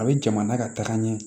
A bɛ jamana ka taga ɲɛ